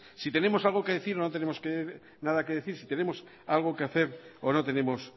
si tenemos algo que decir o no tenemos nada que decir si tenemos algo que hacer o no tenemos